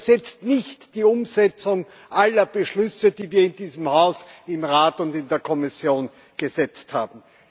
Und es ersetzt nicht die Umsetzung aller Beschlüsse, die wir in diesem Haus, im Rat und in der Kommission gesetzt haben.